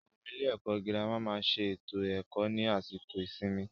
Àwọn ilé ẹ̀kọ́ gírámà máà ń ṣe ètò ẹ̀kó ní àsìkò ìsinmi.